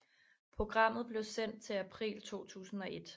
Programmet blev sendt til april 2001